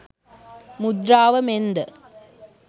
මුද්‍රාව මෙන් ද